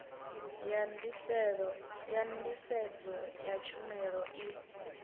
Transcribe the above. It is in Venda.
ya nḓisedzo ya tshumelo i